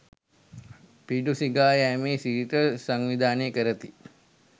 පිඬු සිඟා යෑමේ සිරිත සංවිධානය කරති.